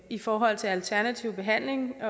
i forhold til alternativ behandling